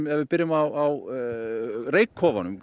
ef við byrjum á